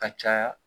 Ka caya